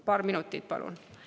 Paar minutit, palun!